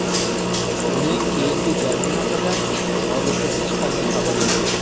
Uning keyingi jangi haqida hozircha hech qanday xabar yo‘q.